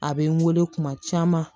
A bɛ n wele kuma caman